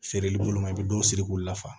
Feereli boloma i bi dɔw siri k'u la fa